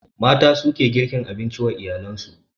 Mata suke girkin abinci wa iyalen su